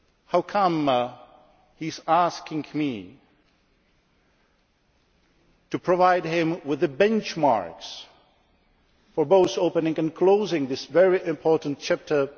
How come he is asking me to provide him with the benchmarks for both opening and closing this very important chapter